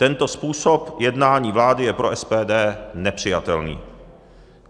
Tento způsob jednání vlády je pro SPD nepřijatelný.